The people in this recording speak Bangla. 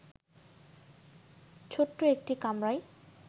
ছোট্ট একটি কামরায়